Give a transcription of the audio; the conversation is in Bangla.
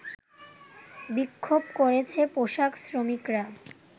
বিক্ষোভ করেছে পোশাক শ্রমিকরা